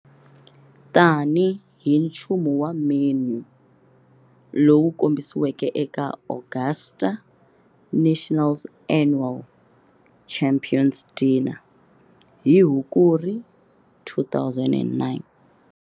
Tani hi nchumu wa menu lowu kombisiweke eka Augusta National's annual "Champions Dinner" hi Hukuri 2009.